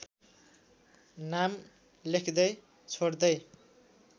नाम लेख्दै छोड्दै